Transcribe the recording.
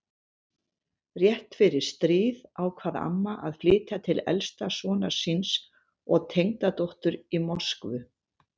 Rétt fyrir stríð ákvað amma að flytja til elsta sonar síns og tengdadóttur í Moskvu.